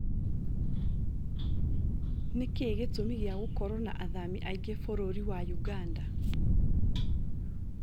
Nĩkĩĩ gĩtũmi kĩa gũkorwo na athami aingĩ Bũrũri wa Ũganda